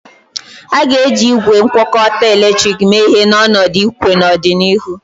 A ga-eji igwe ngwakọta eletrik mee ihe n'ọnọdụ ikwe n'ọdịnihu.